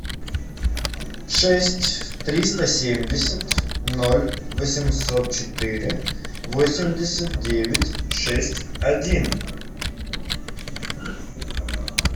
шесть триста семьдесят ноль восемьсот четыре восемьдесят девять шесть один